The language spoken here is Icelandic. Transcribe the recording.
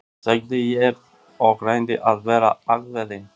sagði ég og reyndi að vera ákveðinn.